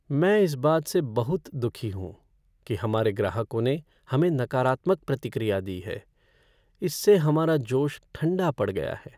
मैं इस बात से बहुत दुखी हूँ कि हमारे ग्राहकों ने हमें नकारात्मक प्रतिक्रिया दी है। इससे हमारा जोश ठंडा पड़ गया है।